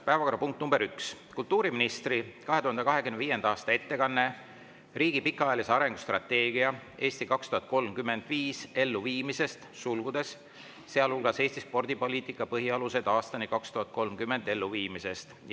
Päevakorrapunkt nr 1: kultuuriministri 2025. aasta ettekanne riigi pikaajalise arengustrateegia "Eesti 2035" elluviimisest .